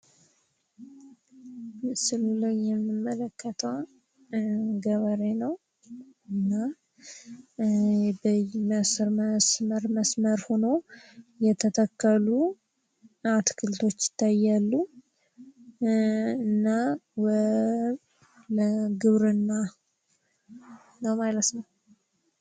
ምስሉ ላይ የምንመለከተው ገበሬ ነው ።በመስመር ሆነው የተተከሉ አትክልቶች ይታያሉ። እና ግብርና ነው ማለት ነው ።